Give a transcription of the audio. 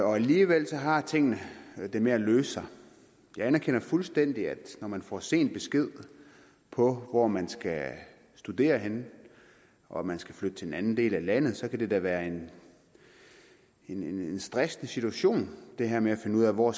og alligevel har tingene det med at løse sig jeg erkender fuldstændig at når man får sent besked på hvor man skal studere henne og man skal flytte til en anden del af landet kan det da være en stressende situation det her med at finde ud af hvor